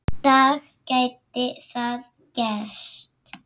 dag gæti það gerst.